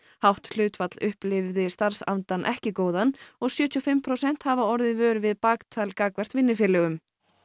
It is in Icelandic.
hátt hlutfall upplifi starfsandann ekki góðan og sjötíu og fimm prósent hafa orðið vör við baktal gagnvart vinnufélögum